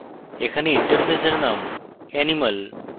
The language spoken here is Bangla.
এখানে interface name animal